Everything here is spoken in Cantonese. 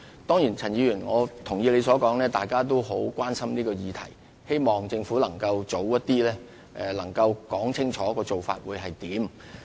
當然，我也同意陳議員所說，大家都很關心這議題，希望政府能盡早清楚說明有關的做法。